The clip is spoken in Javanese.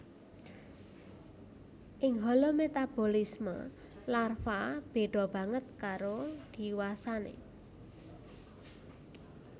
Ing holometabolisme larva béda banget karo diwasané